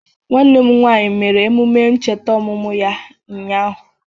Nwanne m nwanyi mere emụme ncheta omụmụ ya unyaahụ